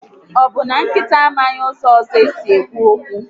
Ọbụ na nkịta amaghị ụzọ ọzọ esi ekwu okwu?